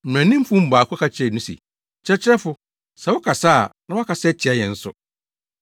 Mmaranimfo no mu baako ka kyerɛɛ no se, “Kyerɛkyerɛfo, sɛ woka saa a na woakasa atia yɛn nso.”